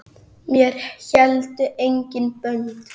Mér héldu engin bönd.